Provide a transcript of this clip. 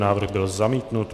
Návrh byl zamítnut.